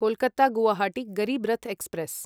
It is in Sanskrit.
कोल्कत्ता गुवाहाटी गरीब् रथ् एक्स्प्रेस्